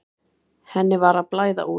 Henni var að blæða út.